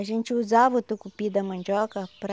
A gente usava o tucupi da mandioca para...